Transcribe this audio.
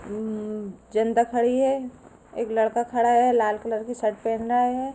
उं उं जनता खड़ी हैं। एक लड़का खड़ा है। लाल कलर की शर्ट पहन रहा है।